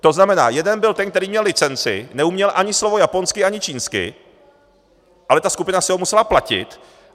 To znamená, jeden byl ten, který měl licenci, neuměl ani slovo japonsky ani čínsky, ale ta skupina si ho musela platit.